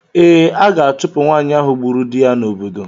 Ee, a ga-achụpụ nwaanyị ahụ gburu di ya n'obodo.